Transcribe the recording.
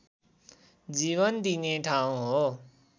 जीवन दिने ठाउँ हो